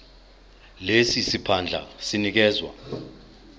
lesi siphandla sinikezwa